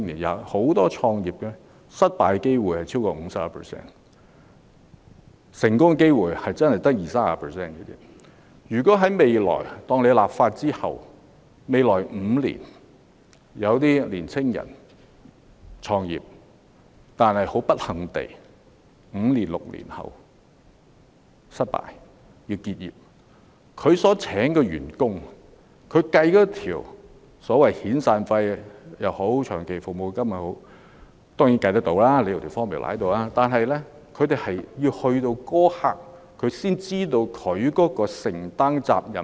假設在立法後，有已經創業的年青人不幸地在5年、6年後失敗而要結業。當他計算員工的遣散費或長期服務金時——當然，有算式便計算得到——他要在結業一刻才知道自己要承擔多少責任。